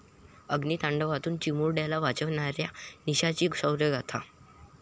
अग्नितांडवातून चिमुरड्याला वाचवणाऱ्या निशाची शौर्यगाथा!